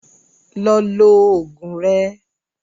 Lọ lo oògùn rẹ